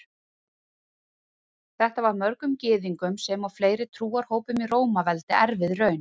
Þetta var mörgum Gyðingum sem og fleiri trúarhópum í Rómaveldi erfið raun.